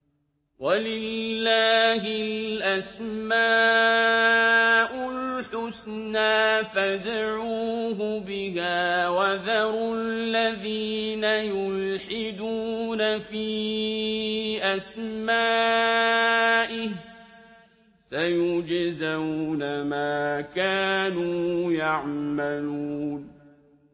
وَلِلَّهِ الْأَسْمَاءُ الْحُسْنَىٰ فَادْعُوهُ بِهَا ۖ وَذَرُوا الَّذِينَ يُلْحِدُونَ فِي أَسْمَائِهِ ۚ سَيُجْزَوْنَ مَا كَانُوا يَعْمَلُونَ